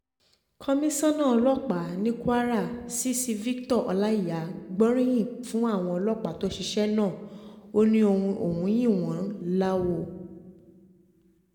komisanna ọlọ́pàá ní kwara cc victor ọláíyà gbóríyìn fún àwọn ọlọ́pàá tó ṣiṣẹ́ náà ó ní òun yìn wọ́n láwọ